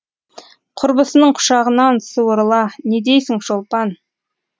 құрбысының құшағынан суырыла не дейсің шолпан